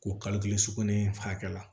K'o kalo kelen sugunɛ hakɛ la